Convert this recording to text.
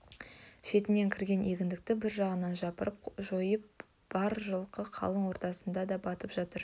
шетінен кірген егіндікті бір жағынан жапырып жойып бар жылқы қалың ортасына да батып жатыр